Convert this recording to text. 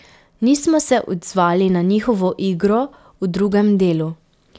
Nismo se odzvali na njihovo igro v drugem delu.